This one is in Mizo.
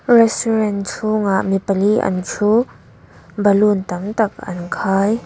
restaurant chhungah mipali an thu balloon tam tak an khai.